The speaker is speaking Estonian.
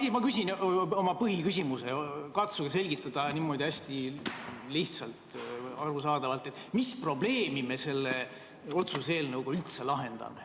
Ja ma küsin oma põhiküsimuse: katsuge selgitada hästi lihtsalt ja arusaadavalt, mis probleemi me selle otsuse eelnõuga üldse lahendame.